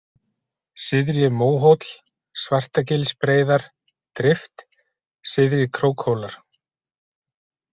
Syðri-Móhóll, Svartagilsbreiðar, Drift, Syðri-Krókhólar